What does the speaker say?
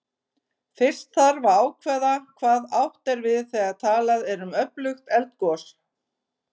Fyrst þarf að ákveða hvað átt er við þegar talað er um öflugt eldgos.